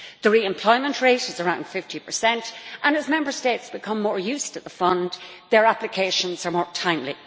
The re employment rate is around 50, and as Member States become more used to the fund, their applications are more timely.